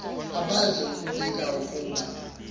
abaze kubika ukuba